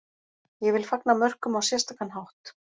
Ég vil fagna mörkum á sérstakan hátt.